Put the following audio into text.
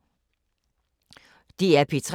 DR P3